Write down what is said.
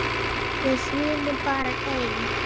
Við sýnum bara ein